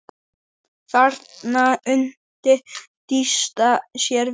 Þarna undi Dysta sér vel.